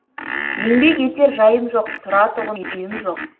еңбек етер жайым жоқ тұратұғын үйім жоқ